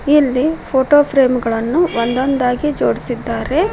ಇಲ್ಲಿ photo frame ಗಳನು ಒಂದೊಂದಾಗಿ ಜೋಡಿಸಿದ್ದಾರೆ.